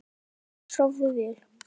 Elsku mamma, sofðu vel.